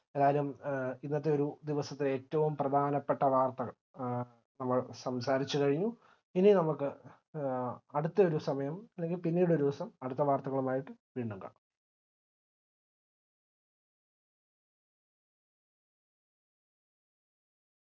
അതായിരുന്നു ഇന്നത്തെ ഒരു ദിവസത്തെ ഏറ്റവും പ്രധാനപ്പെട്ട വാർത്തകൾ എ നമ്മൾ സംസാരിച്ചു കഴിഞ്ഞു ഇനി നമുക്ക് അടുത്ത ഒരു സമയം അല്ലെങ്കിൽ പിന്നീടൊരു ദിവസം അടുത്ത വർത്തകളുമായിട്ട് വീണ്ടും കാണാം